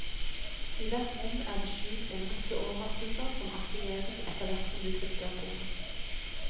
I hvert rom er det skjult en rekke overraskelser som aktiveres etterhvert som du klikker. punktum